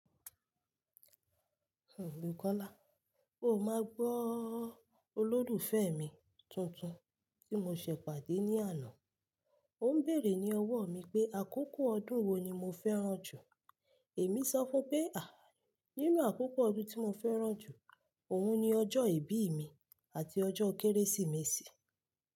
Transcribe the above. Òbí Kọ́lá, ó máa gbọ́ olólùfẹ́ mi tuntun tí mo ṣẹ̀ pàdé ní àná. Ó ń bèèrè ní ọwọ́ mi pé àkókò ọdún wo ni mo fẹ́ràn jù. Èmi sọ fún pé, "à, nínú àkókò ọdún tí mo fẹ́ràn jù, òun ni ọjọ́ ìbí mi àti ọjọ́ Kérésìmesì."